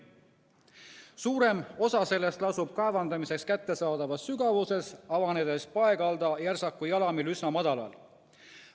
Suurem osa sellest lasub kaevandamiseks kättesaadavas sügavuses, avanedes paekalda järsaku jalamil üsna madalal.